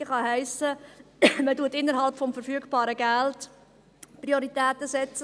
«Priorisierungen» kann heissen, dass man innerhalb des verfügbaren Geldes Prioritäten setzt.